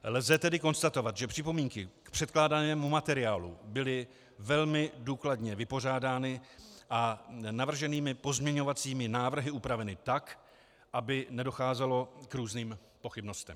Lze tedy konstatovat, že připomínky k předkládanému materiálu byly velmi důkladně vypořádány a navrženými pozměňovacími návrhy upraveny tak, aby nedocházelo k různým pochybnostem.